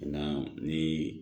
Na ni